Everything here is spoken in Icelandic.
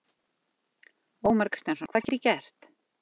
Ómar Kristjánsson: Hvað get ég gert?